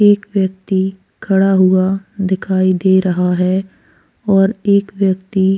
एक व्यक्ति खड़ा हुआ दिखाई दे रहा है और एक व्यक्ति --